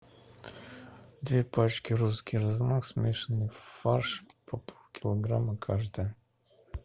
две пачки русский размах смешанный фарш по полкилограмма каждая